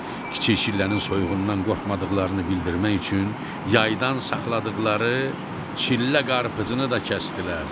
Kiçik çillənin soyuğundan qorxmadıqlarını bildirmək üçün yaydan saxladıqları çillə qarpızını da kəsdilər.